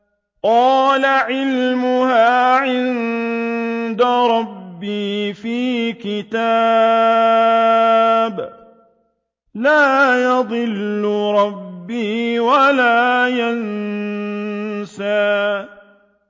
قَالَ عِلْمُهَا عِندَ رَبِّي فِي كِتَابٍ ۖ لَّا يَضِلُّ رَبِّي وَلَا يَنسَى